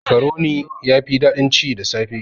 Makaroni yafi daɗin ci da safe.